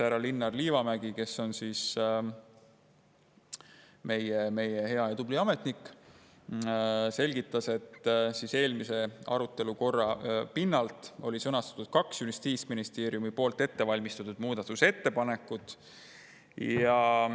Härra Linnar Liivamägi, kes on meie hea ja tubli ametnik, selgitas, et eelmise arutelu pinnalt oli sõnastatud kaks Justiitsministeeriumi ettevalmistatud muudatusettepanekut.